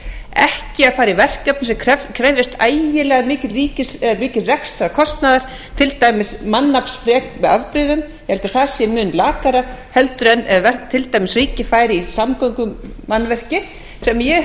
ekki að fara í verkefni sem krefjast ægilega mikils rekstrarkostnaðar til dæmis mannaflafrek með afbrigðum ég held að það sé mun lakara heldur en ef til dæmis ríkið færi í samgöngumannvirki sem ég